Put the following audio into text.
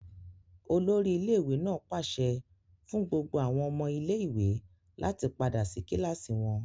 Olori ile-iwe naa paṣẹ fun gbogbo awọn ọmọ ile-iwe lati pada si kilasi wọn!